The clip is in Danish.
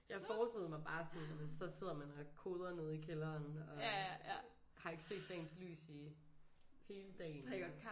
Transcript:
Jeg forestillede mig bare sådan nåh men så sidder man og koder nede i kælderen og har ikke set dagens lys i hele dagen og